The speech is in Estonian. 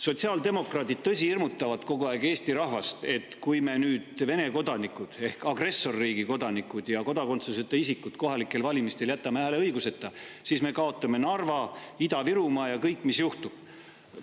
Sotsiaaldemokraadid, tõsi, hirmutavad kogu aeg Eesti rahvast, et kui me Vene kodanikud ehk agressorriigi kodanikud ja kodakondsuseta isikud jätame kohalikel valimistel hääleõiguseta, siis me kaotame Narva ja Ida-Virumaa ning mis kõik juhtub.